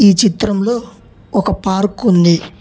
ఈ చిత్రంలో ఒక పార్కుంది .